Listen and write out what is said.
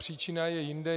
Příčina je jinde.